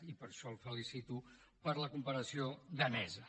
i per això el felicito per la comparació danesa